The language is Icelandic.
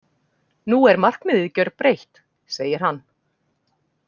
Nú er markmiðið gjörbreytt, segir hann.